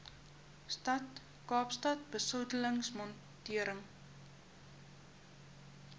stad kaapstad besoedelingsmonitering